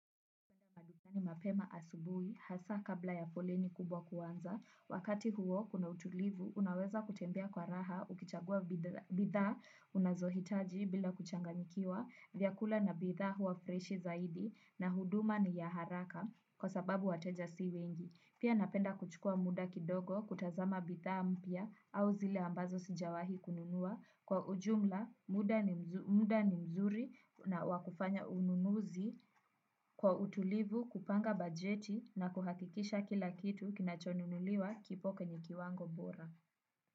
Bitha ni mapema asubui, hasa kabla ya foleni kubwa kuwanza, wakati huo kuna utulivu, unaweza kutembea kwa raha, ukichagua bithaa, unazohitaji bila kuchangamikiwa, vyakula na bithaa huwa freshi zaidi, na huduma ni ya haraka, kwa sababu wateja si wengi. Pia napenda kuchukua muda kidogo kutazama bithaa mpya au zile ambazo sijawahi kununua kwa ujumla muda ni mzuri na wa kufanya ununuzi kwa utulivu kupanga bajeti na kuhakikisha kila kitu kinachonunuliwa kipo kwenye kiwango bora.